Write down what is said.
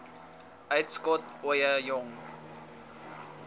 uitskot ooie jong